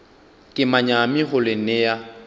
ke manyami go le nea